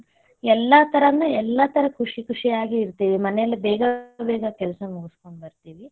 ಎಲ್ಲಾ ತರನೂ ಎಲ್ಲಾ ತರ ಖುಷಿ ಖುಷಿಯಾಗಿ ಇರತೇವಿ, ಮನೇಲ ಬೇಗಾ ಕೆಲಸ ಮುಗಸ್ಕೊಂಡ್ ಬರತೇವಿ.